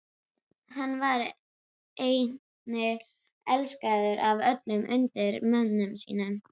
Hann var einnig elskaður af öllum undirmönnum sínum.